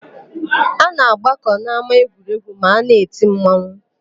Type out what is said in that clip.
A na-agbakọ n'ámáegwuregwu ma a na-eti mmanwụ.